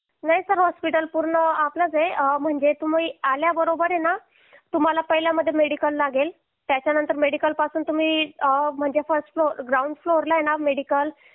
नाही sir hospital पूर्ण आपलंच आहे म्हणजे तुम्ही आल्याबरोबर ना तुम्हाला पहिल्या मध्ये मेडिकल लागेल त्याच्यानंतर मेडिकल पासून तुम्ही फर्स्ट फ्लोर ग्राउंड फ्लोर ला आहे ना मेडिकल